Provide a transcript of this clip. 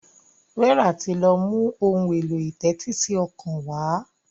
Vera tí lọ mú Ohun èlò ìtẹ́tísí ọkàn wá.